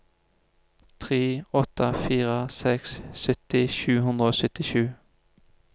tre åtte fire seks sytti sju hundre og syttisju